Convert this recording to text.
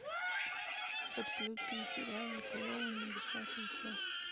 подключи сериал зачарованные десятая часть